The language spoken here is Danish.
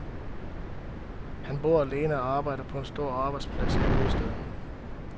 Han bor alene og arbejder på en stor arbejdsplads i hovedstaden.